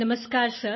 नमस्कार सर